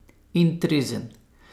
In trezen.